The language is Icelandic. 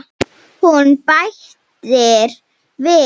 Hún bætir við.